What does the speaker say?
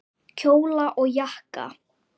Kjóla og jakka.